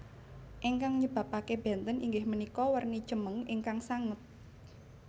Ingkang nyebabake benten inggih punika werni cemeng ingkang sanget